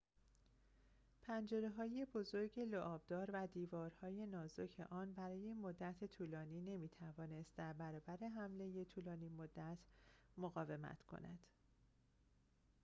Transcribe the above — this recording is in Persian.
پنجره‌های بزرگ لعاب‌دار و دیوارهای نازک آن برای مدت طولانی نمی‌توانست در برابر حمله طولانی‌مدت مقاومت کند